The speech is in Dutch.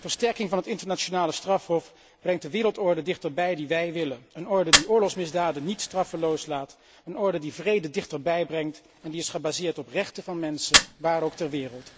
Versterking van het internationale strafhof brengt de wereldorde dichterbij die wij willen, een orde die oorlogsmisdaden niet straffeloos laat, een orde die vrede dichterbij brengt en die is gebaseerd op rechten van mensen, waar ook ter wereld.